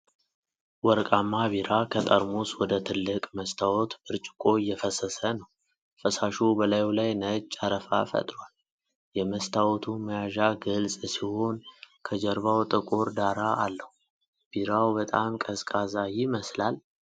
ወርቃማ ቢራ ከጠርሙስ ወደ ትልቅ መስታወት ብርጭቆ እየፈሰሰ ነው። ፈሳሹ በላዩ ላይ ነጭ አረፋ ፈጥሯል። የመስታወቱ መያዣ ግልፅ ሲሆን ከጀርባው ጥቁር ዳራ አለው። ቢራው በጣም ቀዝቃዛ ይመስላል?